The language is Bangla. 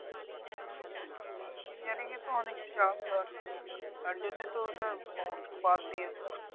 Engineering এ তো অনেক চাপ ধর তোর। তার জন্যে তো ওটা বাদ দিয়ে দিলাম।